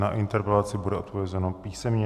Na interpelaci bude odpovězeno písemně.